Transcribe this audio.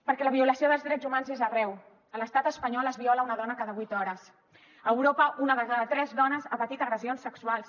perquè la violació dels drets humans és arreu a l’estat espanyol es viola una dona cada vuit hores a europa una de cada tres dones ha patit agressions sexuals